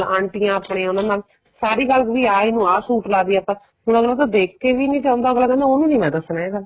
ਆਂਟੀਆਂ ਆਪਣੇ ਉਹਨਾ ਨਾਲ ਸਾਰੀ ਗੱਲ ਵੀ ਆ ਇੰਨੁ ਆ ਸੂਟ ਲੱਗਦੀ ਏ ਆਪਾਂ ਹੁਣ ਅੱਗਲਾ ਤਾਂ ਦੇਖ ਕੇ ਵੀ ਨੀ ਜਾਂਦਾ ਅੱਗਲਾ ਕਹਿੰਦਾ ਉਹਨੂੰ ਨੀ ਮੈਂ ਦੱਸਣਾ ਇਹ ਗੱਲ